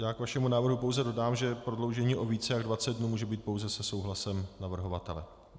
Já k vašemu návrhu pouze dodám, že prodloužení o více jak 20 dnů může být pouze se souhlasem navrhovatele.